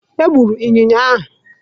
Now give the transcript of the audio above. Egburu ịnyịnya ahụ.